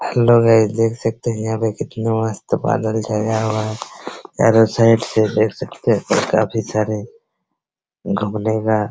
hello guys देख सकते हैं यहाँ पे कितना मस्त बादल छाया हुआ है | चारो साइड से देख सकते हैं काफी सारे घूमने का --